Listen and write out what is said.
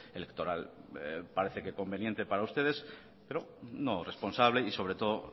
electoral parece que conveniente para ustedes pero no responsable y sobre todo